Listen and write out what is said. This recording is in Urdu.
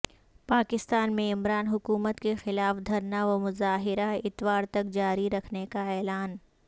پاکستان میں عمران حکومت کے خلاف دھرنا ومظاہرہ اتوار تک جاری رکھنے کا اعلان